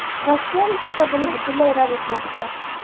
Rossiyalik esa buni butunlay rad etmoqda.